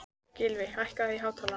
Gylfi, hækkaðu í hátalaranum.